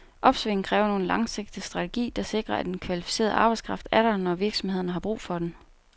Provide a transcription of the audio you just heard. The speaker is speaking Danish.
Opsvinget kræver nu en langsigtet strategi, der sikrer, at den kvalificerede arbejdskraft er der, når virksomhederne har brug for den.